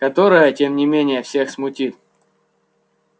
которое тем не менее всех смутит